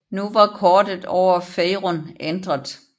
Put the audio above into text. Nu var kortet over Faerûn ændret